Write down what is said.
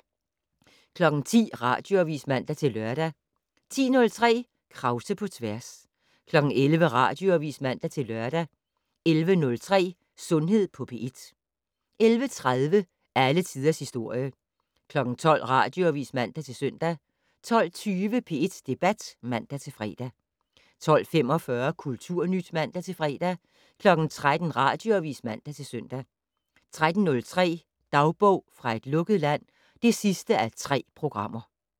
10:00: Radioavis (man-lør) 10:03: Krause på tværs 11:00: Radioavis (man-lør) 11:03: Sundhed på P1 11:30: Alle tiders historie 12:00: Radioavis (man-søn) 12:20: P1 Debat (man-fre) 12:45: Kulturnyt (man-fre) 13:00: Radioavis (man-søn) 13:03: Dagbog fra et lukket land (3:3)